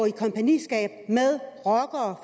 i kompagniskab med rockere